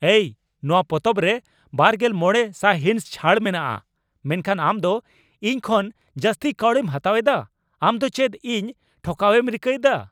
ᱮᱭ ! ᱱᱚᱣᱟ ᱯᱚᱛᱚᱵ ᱨᱮ ᱒᱕ ᱥᱟᱭᱦᱤᱸᱥ ᱪᱷᱟᱹᱲ ᱢᱮᱱᱟᱜᱼᱟ, ᱢᱮᱱᱠᱷᱟᱱ ᱟᱢ ᱫᱚ ᱤᱧ ᱠᱷᱚᱱ ᱡᱟᱹᱥᱛᱤ ᱠᱟᱹᱣᱰᱤᱢ ᱦᱟᱛᱟᱣ ᱮᱫᱟ ᱾ ᱟᱢ ᱫᱚ ᱪᱮᱫ ᱤᱧ ᱴᱷᱚᱠᱟᱣᱮᱢ ᱨᱤᱠᱟᱹᱭᱮᱫᱟ?